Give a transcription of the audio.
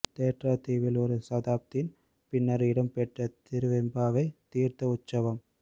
தேற்றாத்தீவில் ஒரு தசாப்த்தின் பின்னர் இடம் பெற்ற திருவெம்பாவை தீர்த்த உற்சவம்